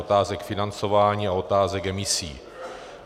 Otázek financování a otázek emisí.